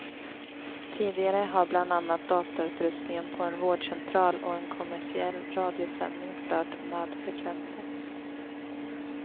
Tidigare har bland annat datautrustningen på en vårdcentral och en kommersiell radiosändning stört nödfrekvensen.